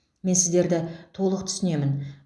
мен сіздерді толық түсінемін